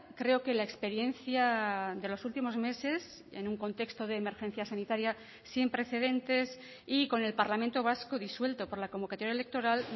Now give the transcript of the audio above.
creo que la experiencia de los últimos meses en un contexto de emergencia sanitaria sin precedentes y con el parlamento vasco disuelto por la convocatoria electoral